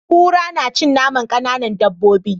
Kura na cin naman kanan dabobi